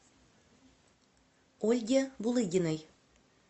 ольге булыгиной